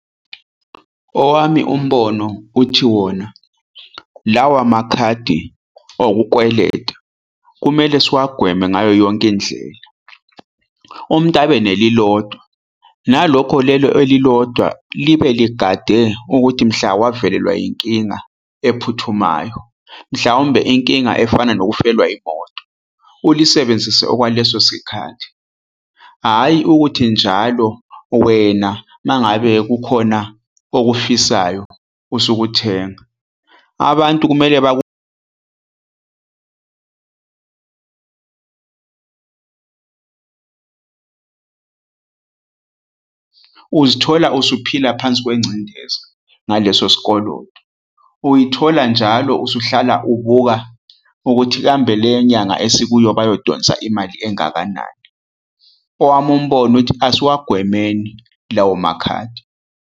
Owami umbono uthi wona, lawa makhadi okukweleta kumele siwagwema ngayo yonke indlela. Umuntu abe nelilodwa, nalokho leli elilodwa libe ligade ukuthi mhla wavelelwa inkinga ephuthumayo, mhlawumbe inkinga efana nokufelwa imoto, ulisebenzise okwaleso sikhathi. Hhayi ukuthi njalo wena uma ngabe kukhona okufisayo usuke uthenga. Abantu kumele uzithola usuphila phansi kwencindezi ngaleso sikoloto. Uyithola njalo usuhlala ubuka ukuthi kambe le nyanga esikuyo bayodonsa imali engakanani. Owami umbone uthi, asiwagwemeni lawo makhadi.